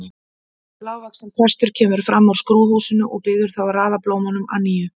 Lágvaxinn prestur kemur fram úr skrúðhúsinu og biður þá að raða blómunum að nýju.